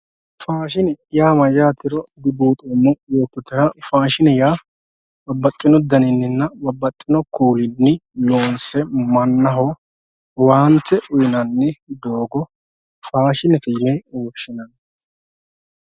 Fashine ya mayatero dubuxomo yototera fashine ya babaxino fanunina babaxino kulini lonse manaho owante uyinani dogo fashinete yine woshinenni